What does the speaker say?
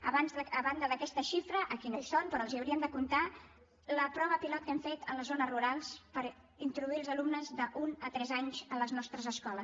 a banda d’aquesta xifra aquí no hi són però les hi hauríem de comptar la prova pilot que hem fet a les zones rurals per introduir els alumnes d’un a tres anys a les nostres escoles